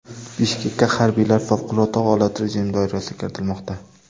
Bishkekka harbiylar favqulodda holat rejimi doirasida kiritilmoqda.